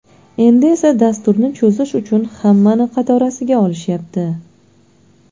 Endi esa dasturni cho‘zish uchun hammani qatorasiga olshyapti.